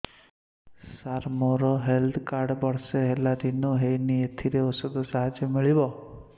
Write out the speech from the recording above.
ସାର ମୋର health card ବର୍ଷେ ହେଲା ରିନିଓ ହେଇନି ଏଥିରେ ଔଷଧ ସାହାଯ୍ୟ ମିଳିବ